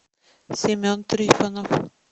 семен трифонов